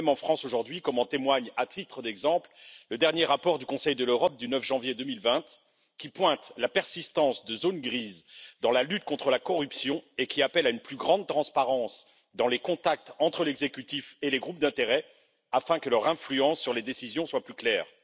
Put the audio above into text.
même en France aujourd'hui, comme en témoigne, à titre d'exemple, le dernier rapport du Conseil de l'Europe du 9 janvier 2020, qui pointe la persistance de zones grises dans la lutte contre la corruption et qui appelle à une plus grande transparence dans les contacts entre l'exécutif et les groupes d'intérêt afin que leur influence sur les décisions soit plus claire.